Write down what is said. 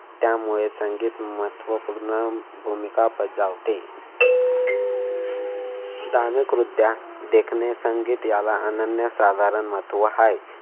त्यामुळे संगीत महत्त्वपूर्ण भूमिका बजावते. दाणकवृद्धया देखने संगीत याला अनन्य-साधारण महत्त्व आहे.